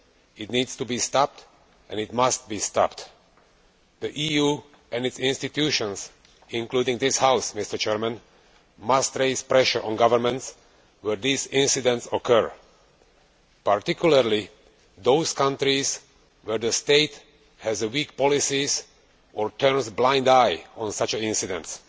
It needs to be stopped and it must be stopped. The EU and its institutions, including this House, must increase pressure on governments where these incidents occur, particularly in those countries where the state has weak policies or turns a blind eye to such incidents.